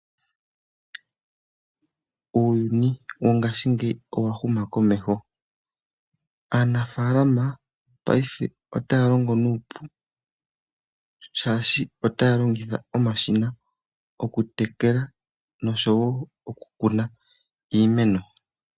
Uuyuni wongashingeyi owa huma komeho aanafalama paife otaya longo nuupu shaashi otaya longitha omashina oku tekela noshowo oku kuna iimeno